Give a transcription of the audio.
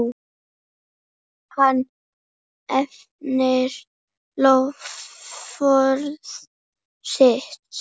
Hann efnir loforð sitt.